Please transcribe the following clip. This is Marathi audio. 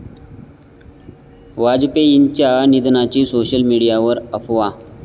वाजपेयींच्या निधनाची सोशल मीडियावर अफवा